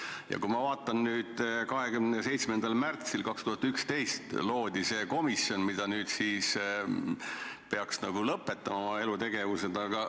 Ja kui ma vaatan nüüd: 27. märtsil 2011 loodi see komisjon, mis nüüd peaks nagu oma elutegevuse lõpetama.